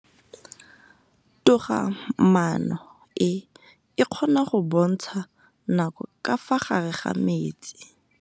Toga-maanô e, e kgona go bontsha nakô ka fa gare ga metsi.